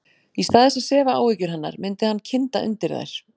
Í stað þess að sefa áhyggjur hennar myndi hann kynda undir þær.